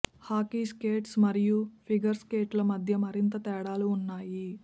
hockey skates మరియు figure స్కేట్లు మధ్య మరింత తేడాలు ఉన్నాయి